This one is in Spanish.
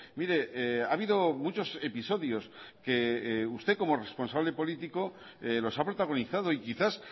mire ha habido muchos episodios que usted como responsable político los ha protagonizado y quizás